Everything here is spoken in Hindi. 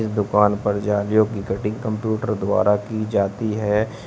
दुकान पर जालियों की कटिंग कंप्यूटर द्वारा की जाती है।